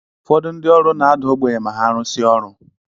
Ụfọdụ ndi ọrụ na ada ogbenye ma ha rụsie ọrụ.